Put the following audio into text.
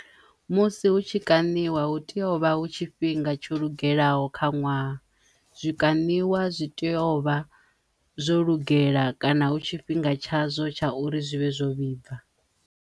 Musi hu tshi kaṋiwa hu teyo vha hu tshifhinga tsho lugelaho kha ṅwaha zwi kaniwa zwi teyo vha zwo lugela kana hu tshifhinga tsha zwo tsha uri zwi vhe zwo vhibva.